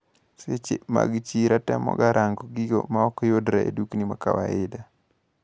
Seche mag chiro atemoga rango gigo maokyudre e dukni makawaida.